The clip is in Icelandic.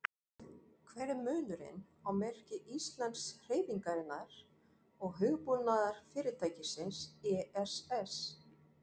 Hver er munurinn á merki Íslandshreyfingarinnar og hugbúnaðarfyrirtækisins ESS?